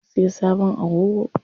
Mun siyo sabon agogo.